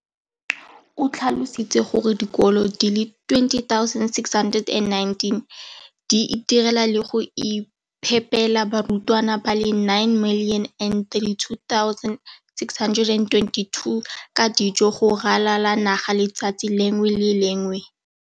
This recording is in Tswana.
O tlhalositse gore dikolo di le 20 619 di itirela le go iphepela barutwana ba le 9 032 622 ka dijo go ralala naga letsatsi le lengwe le le lengwe.